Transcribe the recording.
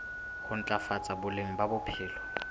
ho ntlafatsa boleng ba bophelo